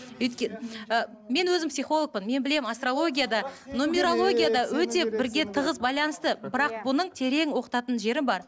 ы мен өзім психологпын мен білемін астрология да нумерология да өте бірге тығыз байланысты бірақ бұның терең оқытатын жері бар